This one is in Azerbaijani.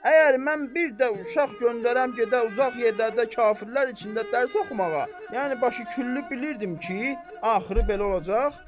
Əgər mən bir də uşaq göndərəm gedə uzaq yerlərdə kafirlər içində dərs oxumağa, yəni başı küllü bilirdim ki, axırı belə olacaq.